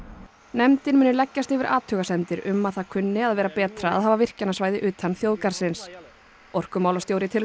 nefndin muni leggjast yfir athugasemdir um að það kunni að vera betra að hafa virkjanasvæði utan þjóðgarðsins orkumálastjóri telur